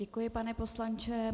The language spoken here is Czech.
Děkuji, pane poslanče.